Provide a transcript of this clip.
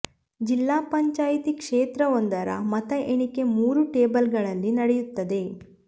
ಜಿಲ್ಲಾ ಪಂಚಾಯಿತಿ ಕ್ಷೇತ್ರ ವೊಂದರ ಮತ ಎಣಿಕೆ ಮೂರು ಟೇಬಲ್ಗಳಲ್ಲಿ ನಡೆಯುತ್ತದೆ